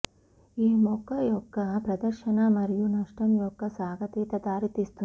ఈ మొక్క యొక్క ప్రదర్శన మరియు నష్టం యొక్క సాగతీత దారితీస్తుంది